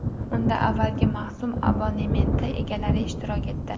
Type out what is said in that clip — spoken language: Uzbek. Unda avvalgi mavsum abonementi egalari ishtirok etdi.